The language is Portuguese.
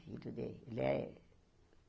Filho dele. Ele é